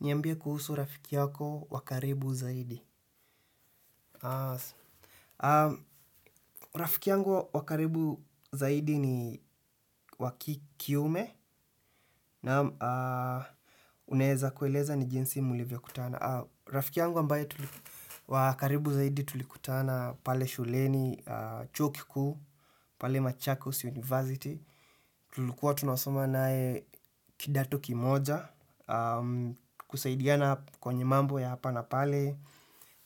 Niambie kuhusu rafiki yako wa karibu zaidi. Rafiki yangu wa karibu zaidi ni wa ki kiume na unaeza kueleza ni jinsi mulivyokutana. Rafiki yangu ambaye wa karibu zaidi tulikutana pale shuleni Chuo kikuu, pale Machakos University. Tulikua tunasoma naye kidato kimoja, kusaidiana kwenye mambo ya hapa na pale,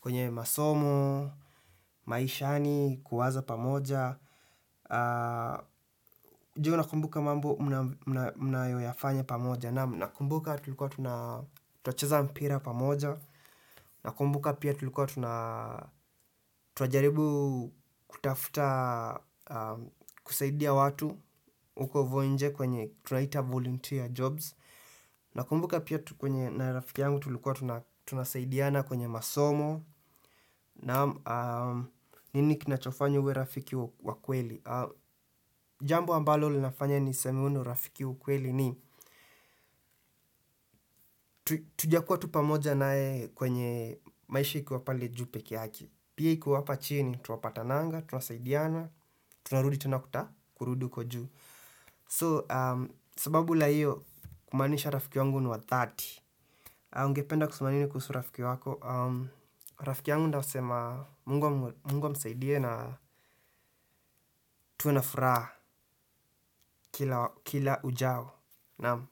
kwenye masomo, maishani, kuwaza pamoja. Je unakumbuka mambo mnayoyafanya pamoja. Naam nakumbuka tulikuwa tunacheza mpira pamoja. Nakumbuka pia tulikuwa tunajaribu kutafuta kusaidia watu uko voinje kwenye tunaita volunteer jobs. Nakumbuka pia na rafiki yangu tulikuwa tunasaidiana kwenye masomo. Naam nini kinachofanya uwe rafiki wa kweli. Jambo ambalo linafanya niseme huu ni urafiki ukweli ni tujakuwa tu pamoja naye kwenye maisha ikiwa pale juu peke yake. Pia iko hapa chini, tunapatananga, tunasaidiana, tunarudi tunakuta, kurudi huko juu So, sababu la hiyo kumaanisha rafiki wangu ni wa thelathini. Ungependa kusema nini kuhusu rafiki wako. Rafiki yangu ndasema Mungu amsaidie na tuwe na furaha kila ujao. Naam.